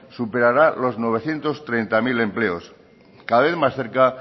superará los novecientos treinta mil empleos cada vez más cerca